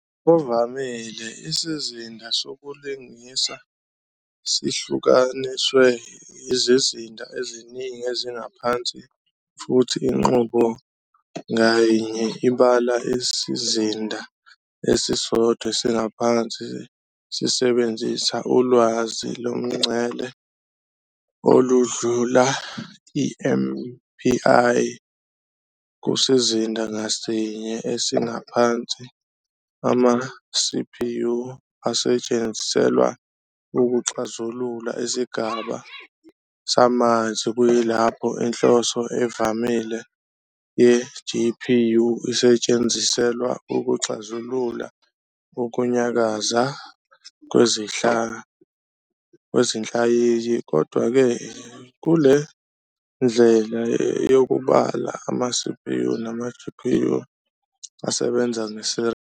Ngokuvamile, isizinda sokulingisa sihlukaniswe izizinda eziningi ezingaphansi futhi inqubo ngayinye ibala isizinda esisodwa esingaphansi sisebenzisa ulwazi lomngcele oludlula i-MPI, kusizinda ngasinye esingaphansi, ama-CPU asetshenziselwa ukuxazulula isigaba samanzi kuyilapho inhloso evamile ye-GPU isetshenziselwa ukuxazulula ukunyakaza kwezinhlayiya. Kodwa-ke, kule ndlela yokubala ama-CPU nama-GPU asebenza nge-serial.